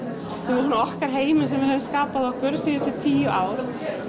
sem er svona okkar heimur sem við höfum skapað okkur síðustu tíu ár